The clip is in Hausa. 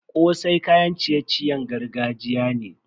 Kosai kayan ciye-ciyen gargajiya ne.